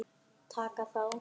Taka þá!